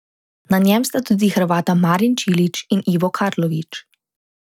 Na njem sta tudi Hrvata Marin Čilić in Ivo Karlović.